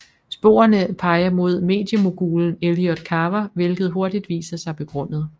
Sporene peger mod mediemogulen Elliot Carver hvilket hurtigt viser sig begrundet